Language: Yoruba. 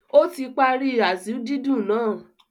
Ó ti pari azu didùn nàá